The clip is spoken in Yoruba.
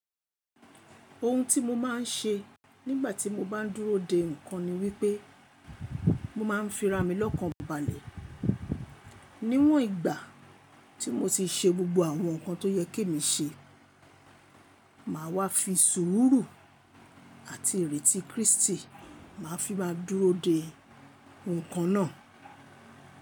Ohun tí mo máa ń ṣe nígbà tí mo bá ń dúró de nǹkan ni wípé mo máa ń fira mi lọ́kànbalẹ̀. Níwọn ìgbà tí mo ti ṣe gbogbo àwọn nǹkan tó yẹ́ kí mi ṣe, màá wá fi sùúrù àti ìrètí Krístì máa fi máa dúró de nǹkan náà.